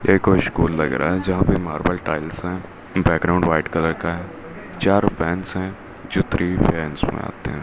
ये कोई स्कूल लग रहा है जहां पर मार्बल टाइल्स है बैकग्राउंड व्हाइट कलर का है चारो फैंस है जो थ्री फैंस मे आते है।